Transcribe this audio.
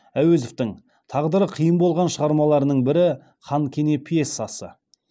әуезовтің тағдыры қиын болған шығармаларының бірі хан кене пьесасы